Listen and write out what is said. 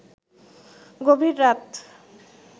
গভীর রাত